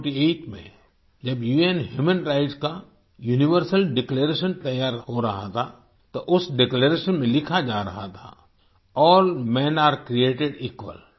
194748 में जब उन ह्यूमन राइट्स का यूनिवर्सल डिक्लेरेशन तैयार हो रहा था तो उस डिक्लेरेशन में लिखा जा रहा था all men are created equal